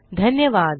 धन्यवाद